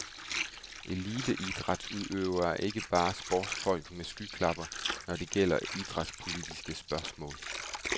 Eliteidrætsudøvere er ikke bare bare sportsfolk med skyklapper, når det gælder idrætspolitiske spørgsmål.